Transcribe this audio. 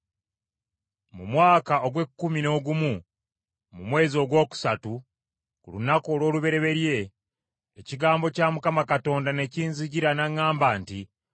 Mu mwaka ogw’ekkumi n’ogumu, mu mwezi ogwokusatu ku lunaku olw’olubereberye, ekigambo kya Mukama Katonda ne kinzijira n’aŋŋamba nti,